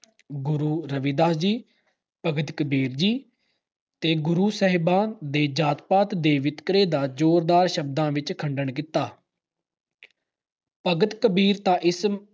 ਗੁਰੂ ਰਵਿਦਾਸ ਜੀ, ਭਗਤ ਕਬੀਰ ਜੀ ਤੇ ਗੁਰੂ ਸਾਹਿਬਾਂ ਨੇ ਜਾਤ-ਪਾਤ ਤੇ ਵਿਤਕਰੇ ਦਾ ਜੋਰਦਾਰ ਸ਼ਬਦਾਂ ਵਿੱਚ ਖੰਡਨ ਕੀਤਾ। ਭਗਤ ਕਬੀਰ ਤਾਂ ਇਸ